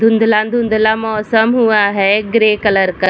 धुँधला-धुँधला मौसम हुआ है ग्रे कलर का |